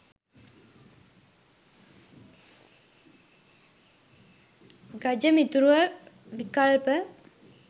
ගජ මිතුරුව විකල්ප